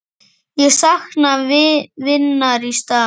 Ég sakna vinar í stað.